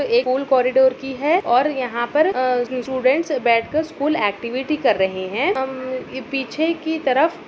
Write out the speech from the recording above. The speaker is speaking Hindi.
कॉरीडोर की है और यहाँ पर अ स्टूडेंट्स बैठकर स्कूल ऐक्टिविटी कर रहे हैं। हम ये पीछे की तरफ --